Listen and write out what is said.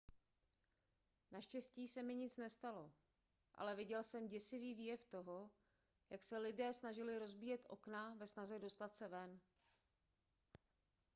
naštěstí se mi nic nestalo ale viděl jsem děsivý výjev toho jak se lidé snažili rozbíjet okna ve snaze dostat se ven